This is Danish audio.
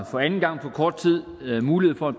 for anden gang på kort tid mulighed for